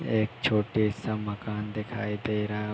एक छोटे-सा मकान दिखाई दे रहा --